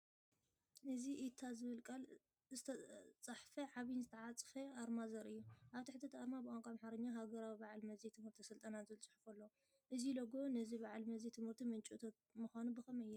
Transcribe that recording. እዚ “ኢታ” ዝብል ቃል ዝተጻሕፈ ዓቢን ዝተዓጽፈን ኣርማ ዘርኢ እዩ። ኣብ ትሕቲ እቲ ኣርማ ብቋንቋ ኣምሓርኛ “ሃገራዊ በዓል መዚ ትምህርትን ስልጠናን” ዝብል ጽሑፍ ኣሎ። እዚ ሎጎ እዚ ንበዓል መዚ ትምህርቲ ምንጪ እቶት ምዃኑ ብኸመይ የርኢ?